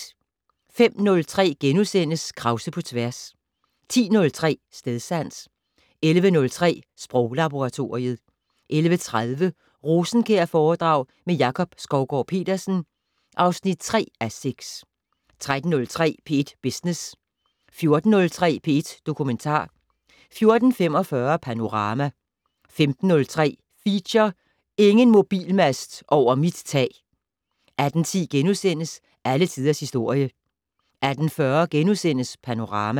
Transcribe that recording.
05:03: Krause på tværs * 10:03: Stedsans 11:03: Sproglaboratoriet 11:30: Rosenkjærforedrag med Jakob Skovgaard-Petersen (3:6) 13:03: P1 Business 14:03: P1 Dokumentar 14:45: Panorama 15:03: Feature: Ingen mobilmast over mit tag! 18:10: Alle Tiders Historie * 18:40: Panorama *